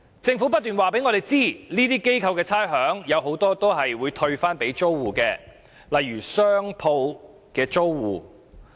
政府不斷告訴我們，這些機構獲豁免的差餉，很多會退回給租戶，例如商鋪租戶。